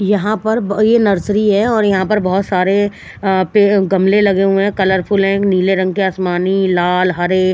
यहाँ पर ब ये नर्सरी है और यहाँ पर बहत सरे पे गमले लगे हुए है कलरफुल है नील रंग के आसमानी लाल हरे --